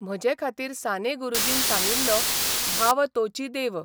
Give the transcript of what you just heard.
म्हजेखातीर साने गुरूजीन सांगिल्लो ' भाव तोचि देव '.